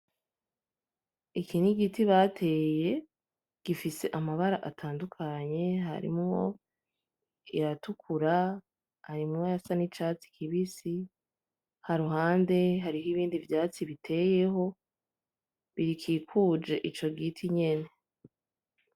Iki ni igiti bateye, gifise amabara atandukanye harimwo ayatukura, harimwo ayasa nicatsi kibisi, kuruhande hariho ibindi vyatsi biteyeho bikikuje ico giti nyene.